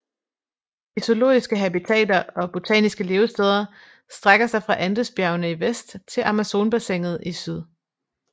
De zoologiske habitater og botaniske levesteder strækker sig fra Andesbjergene i vest til Amazonbassinet i syd